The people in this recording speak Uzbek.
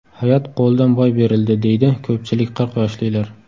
Hayot qo‘ldan boy berildi, deydi ko‘pchilik qirq yoshlilar.